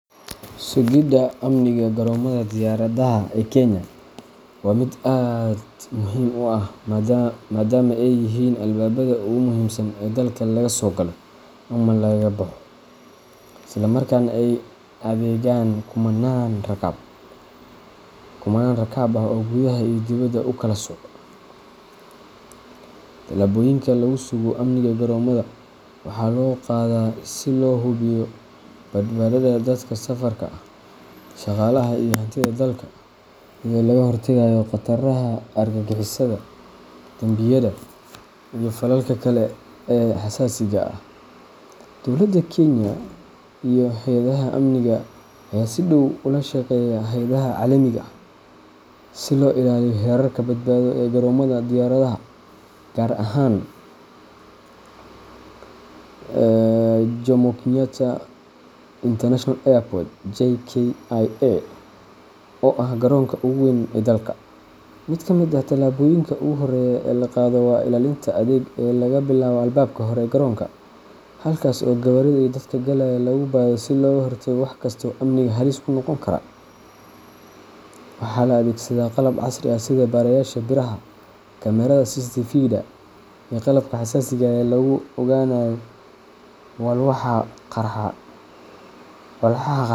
Sugidda amniga garoomada diyaaradaha ee Kenya waa mid aad muhiim u ah maadaama ay yihiin albaabada ugu muhiimsan ee dalka laga soo galo ama laga baxo, isla markaana ay adeegaan kumannaan rakaab ah oo gudaha iyo dibedda u kala socda. Tallaabooyinka lagu sugo amniga garoomada waxaa loo qaadaa si loo hubiyo badbaadada dadka safarka ah, shaqaalaha, iyo hantida dalka, iyadoo laga hortagayo khataraha argagixisada, dambiyada, iyo falalka kale ee xasaasiga ah. Dowladda Kenya iyo hay’adaha amniga ayaa si dhow ula shaqeeya hay’adaha caalamiga ah si loo ilaaliyo heerarka badbaado ee garoomada diyaaradaha, gaar ahaan Jomo Kenyatta International Airport JKIA oo ah garoonka ugu weyn ee dalka. Mid ka mid ah tallaabooyinka ugu horreeya ee la qaado waa ilaalinta adag ee laga bilaabo albaabka hore ee garoonka, halkaas oo gawaarida iyo dadka galaya lagu baadho si looga hortago wax kasta oo amniga halis ku noqon kara. Waxaa la adeegsadaa qalab casri ah sida baarayaasha biraha, kamaradaha CCTVda, iyo qalabka xasaasiga ah ee lagu ogaanayo walxaha qarxa.